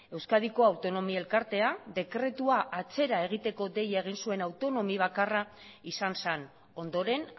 euskadiko autonomi elkartea dekretua atzera egiteko deia egin zuen autonomi bakarra izan zen ondoren